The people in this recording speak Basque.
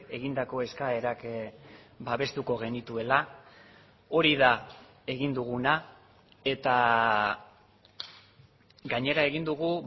egindako eskaerak babestuko genituela hori da egin duguna eta gainera egin dugu